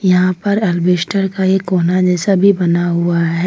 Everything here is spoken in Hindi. यहां पर अलवेस्टर का ये कोना जैसा भी बना हुआ है।